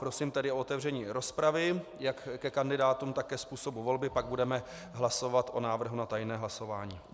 Prosím tedy o otevření rozpravy jak ke kandidátům, tak ke způsobu volby, pak budeme hlasovat o návrhu na tajné hlasování.